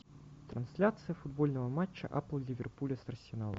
трансляция футбольного матча апл ливерпуля с арсеналом